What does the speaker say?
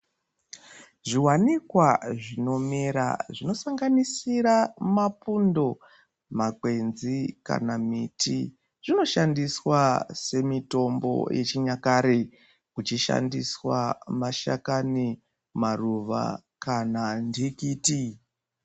Zviwanikwa zvinomera zvinosanganisira pundo makwenzi kana miti zvinoshandiswa semutombo nechinyakare kuchishandiswa mashakani maruwa kana ndikuti.